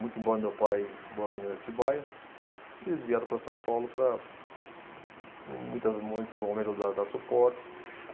Muito embora meu pai morando em Atibaia, eles vieram para São Paulo para em muitas, muitos momentos dar dar suporte.